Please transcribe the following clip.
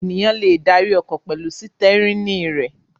Ènìyàn le darí ọkọ̀ pẹ̀lú sítẹ́rínì rẹ̀.